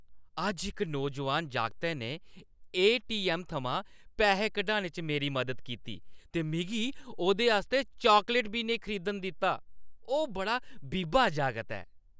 अज्ज इक नौजोआन जागतै ने ए.टी.ऐम्म. थमां पैसे कड्ढने च मेरी मदद कीती ते मिगी ओह्‌दे आस्तै चॉकलेट बी नेईं खरीदन दित्ता। ओह् बड़ा बीबा जागत ऐ।